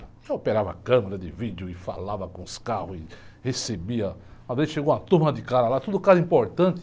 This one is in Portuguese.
Eu operava a câmera de vídeo e falava com os carros e recebia, uma vez, chegou uma turma de cara lá, tudo caso importante.